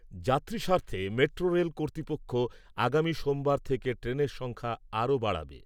যাত্রী স্বার্থে metro rail কর্তৃপক্ষ আগামী সোমবার থেকে ট্রেনের সংখ্যা আরো বাড়াবে।